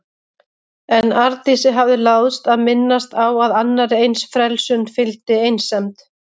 En Arndísi hafði láðst að minnast á að annarri eins frelsun fylgdi einsemd.